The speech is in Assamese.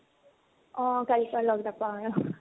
অ। কালিৰ পৰা লগ নাপাও আৰু।